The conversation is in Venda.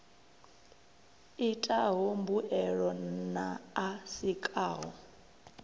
itaho mbuelo na a sikaho